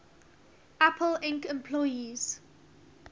apple inc employees